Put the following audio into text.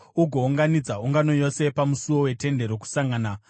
ugounganidza ungano yose pamusuo weTende Rokusangana.”